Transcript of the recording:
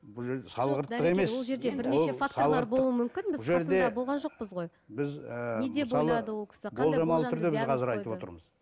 бұл жерде болған жоқпыз ғой біз ііі мысалы